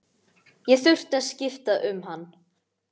Ég þurfti að skipta um hann.